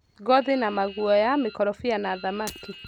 ngothi na maguoya, mĩkorobia na thamaki.